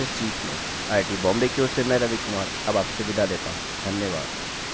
I I T Bombay की ओर से मैं रवि कुमार अब आपसे विदा लेता हूँ धन्यवाद